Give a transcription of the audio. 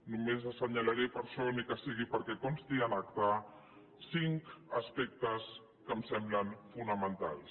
només assenyalaré per això ni que sigui perquè consti en acta cinc aspectes que em semblen fonamentals